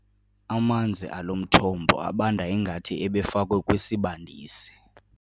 Amanzi alo mthombo abanda ngathi ebefakwe kwisibandisi.